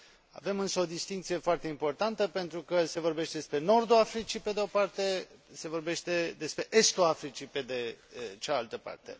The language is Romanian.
Avem însă o distincție foarte importantă, pentru că se vorbește despre nordul Africii, pe de o parte, se vorbește despre estul Africii, pe de cealaltă parte.